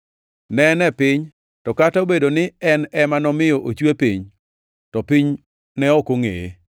Ne en e piny, to kata obedo ni en ema nomiyo ochwe piny, to piny ne ok ongʼeye.